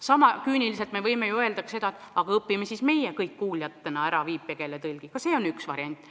Sama küüniliselt võime öelda ka seda, et aga õpime siis meie kõik kuuljatena ära viipekeele – ka see on üks variant.